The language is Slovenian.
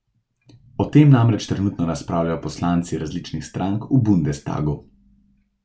O tem namreč trenutno razpravljajo poslanci različnih strank v bundestagu.